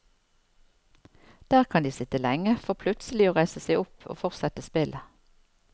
Der kan de sitte lenge, for plutselig å reise seg opp og fortsette spillet.